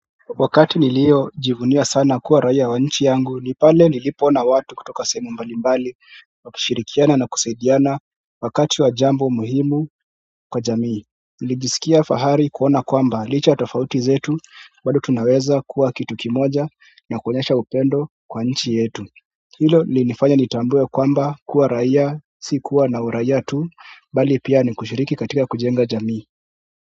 Wakati nilio jivunia sana kuwa raia wa nchi yangu ni pale nilipona watu kutoka sehemu mbalimbali wakishirikiana na kusaidiana wakati wa jambo muhimu kwa jamii nilijisikia fahari kuona kwamba licha ya tofauti zetu bado tunaweza kuwa kitu kimoja na kuonyesha upendo kwa nchi yetu hilo linifanya nitambue kwamba kuwa raia si kuwa na uraia tu bali pia ni kushiriki katika kujenga jamii.